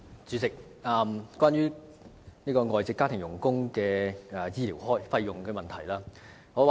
主席，我想問關於外傭醫療費用的問題。